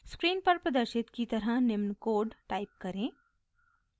screen पर प्रदर्शित की तरह निम्न कोड टाइप करें